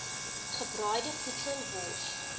gebraaide voedsel wors